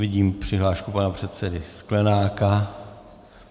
Vidím přihlášku pana předsedy Sklenáka.